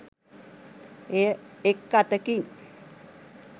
එය එක් අතකින්